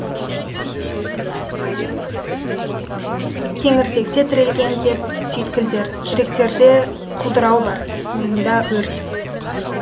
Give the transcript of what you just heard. кеңірдекте тірелген кеп түйткілдер жүректерде құлдырау бар миыңда өрт